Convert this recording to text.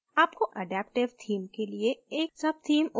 आपको adaptive theme के लिए एक subtheme उपयोग करने की ज़रुरत है